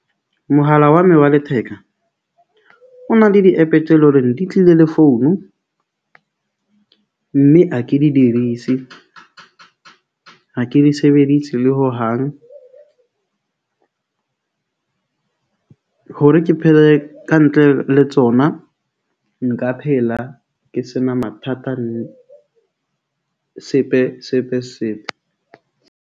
Mohala wa me wa letheka o na le di-app-e tse loreng di tlile le founu. Mme ha ke di dirisi . Ha ke di sebedise le hohang . Hore ke phele kantle le tsona nka phela ke sena mathata , sepe sepe sepe.